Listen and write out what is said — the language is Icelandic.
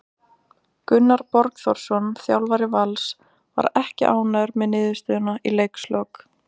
Gunnar Borgþórsson þjálfari Vals var ekki ánægður með niðurstöðuna í leikslok.